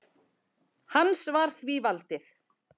Hans var því valdið.